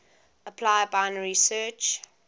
apply binary search